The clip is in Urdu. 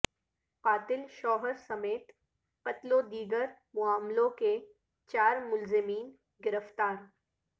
قاتل شوہر سمیت قتل ودیگر معاملوں کے چار ملزمین گرفتار